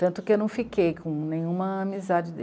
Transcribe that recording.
Tanto que eu não fiquei com nenhuma amizade.